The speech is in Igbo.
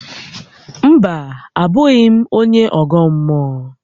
Mba, abụghị m onye ọgọ mmụọ